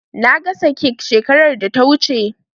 Na gasa kek shekarar da ta wuce.